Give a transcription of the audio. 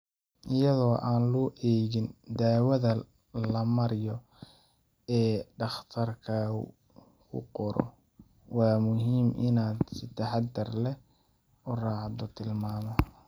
Iyadoo aan loo eegin dawada la mariyo ee dhakhtarkaagu kuu qoro, waa muhiim inaad si taxadar leh u raacdo tilmaamaha.